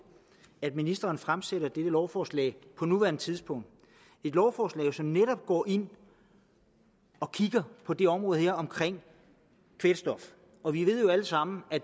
at ministeren fremsætter dette lovforslag på nuværende tidspunkt et lovforslag som jo netop går ind og kigger på det område her omkring kvælstof og vi ved jo alle sammen at